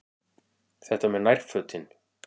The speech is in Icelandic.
Þetta með nærfötin.